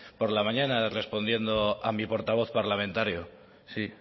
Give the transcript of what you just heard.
por la mañana respondiendo a mi portavoz parlamentario sí